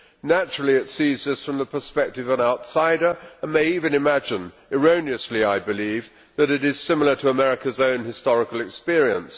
Naturally, it sees this from the perspective of an outsider and may even imagine erroneously, I believe that it is similar to America's own historical experience.